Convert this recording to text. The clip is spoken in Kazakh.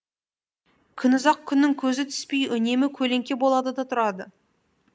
күнұзақ күннің көзі түспей үнемі көлеңке болады да тұрады